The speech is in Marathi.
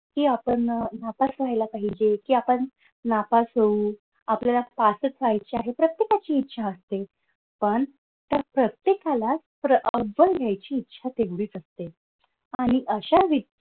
कि आपण नापास व्हायला पाहिजे कि आपण नापास होऊ आपल्याला पासच व्हायचे आहे. प्रत्येकाची इच्छा असते पण तर प्रत्येकाला घ्यायची इच्छा तेवढीच असते आणि अशा